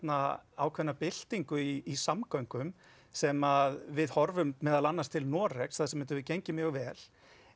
ákveðna byltingu í samgöngum sem við horfum meðal annars til Noregs þar sem þetta hefur gengið mjög vel